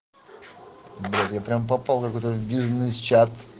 блять я прямо попал в бизнес чат